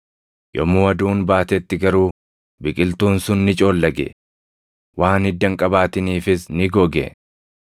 Yommuu aduun baatetti garuu biqiltuun sun ni coollage; waan hidda hin qabaatiniifis ni goge.